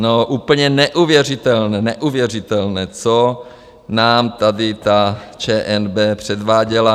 No, úplně neuvěřitelné, neuvěřitelné, co nám tady ta ČNB předváděla.